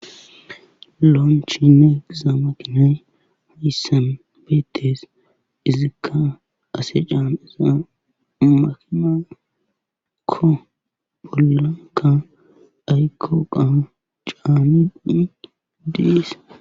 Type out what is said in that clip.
Lonchchina giza maakinay hayssan beetees. izikka asa caaniza makinakko bollakka aykko eqqa caanishe des.